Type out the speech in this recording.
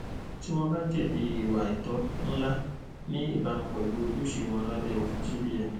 tí wọn bá jẹbi ìwà àìtọ ńlá ní ìbámu pẹlú ojúṣe wọn lábẹ òfin cbn